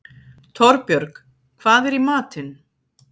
Torbjörg, hvað er í matinn?